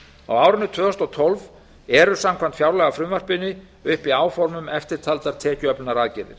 á árinu tvö þúsund og tólf eru samkvæmt fjárlagafrumvarpinu uppi áform um eftirtaldar tekjuöflunaraðgerðir